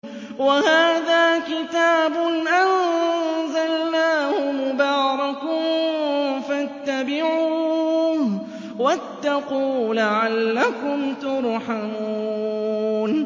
وَهَٰذَا كِتَابٌ أَنزَلْنَاهُ مُبَارَكٌ فَاتَّبِعُوهُ وَاتَّقُوا لَعَلَّكُمْ تُرْحَمُونَ